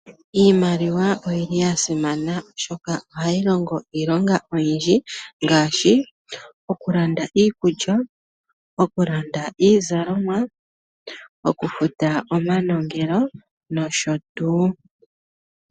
Iimaliwa oya simana, oshoka ohayi longo iilonga oyindji ngaashi: okulanda iikulya, okulanda iizalomwa, okufuta omanongelo nosho tuu.